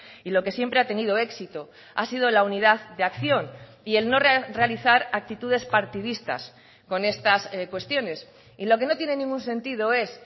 y lo que siempre ha tenido éxito ha sido la unidad de acción y el no realizar actitudes partidistas con estas cuestiones y lo que no tiene ningún sentido es